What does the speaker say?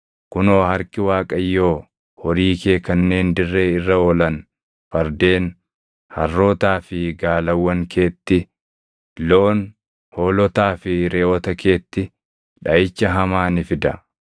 kunoo harki Waaqayyoo horii kee kanneen dirree irra oolan fardeen, harrootaa fi gaalawwan keetti, loon, hoolotaa fi reʼoota keetti dhaʼicha hamaa ni fida.